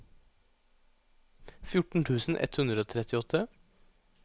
fjorten tusen ett hundre og trettiåtte